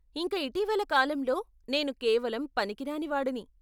ఇంక ఇటీవలి కాలంలో నేను కేవలం పనికిరాని వాడిని .